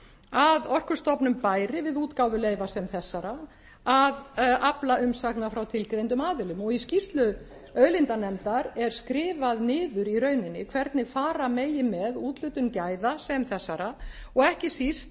að orkustofnun bæri við útgáfu leyfa sem þessara að afla umsagna frá tilgreindum aðilum og í skýrslu auðlindanefndar er skrifað niður í rauninni hvernig fara megi með úthlutun gæða sem þessara og ekki síst